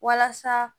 Walasa